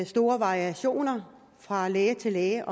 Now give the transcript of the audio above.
store variationer fra læge til læge